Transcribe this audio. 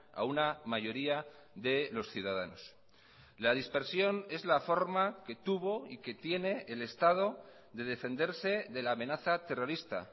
a una mayoría de los ciudadanos la dispersión es la forma que tuvo y que tiene el estado de defenderse de la amenaza terrorista